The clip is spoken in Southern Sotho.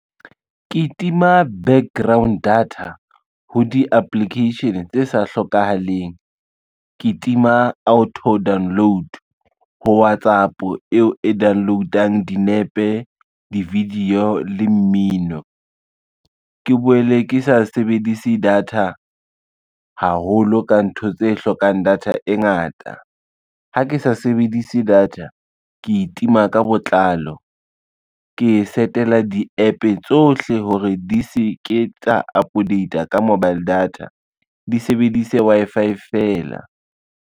Ke tima background data ho di-application tse sa hlokahaleng, ke tima auto download ho WhatsApp eo e download-ang dinepe, di-video le mmino. Ke boele ke sa sebedise data haholo ka ntho tse hlokang data e ngata. Ha ke sa sebedise data, ke itima ka botlalo, ke e set-ela di-App tsohle hore di se ke tsa update-a ka mobile data, di sebedise Wi-Fi fela.